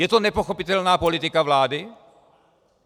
Je to nepochopitelná politika vlády?